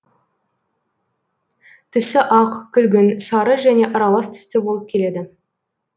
түсі ақ күлгін сары және аралас түсті болып келеді